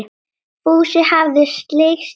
Fúsi hafði slegist í hópinn.